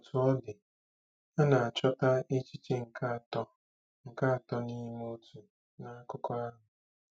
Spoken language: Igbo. Otú ọ dị, a na-achọta echiche nke Atọ nke Atọ n'Ime Otu n'akụkọ ahụ?